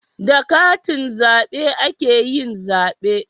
Da katin zabe ake yin zabe